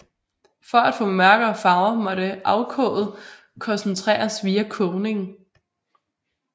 For at få mørkere farver måtte afkoget koncentreres via kogning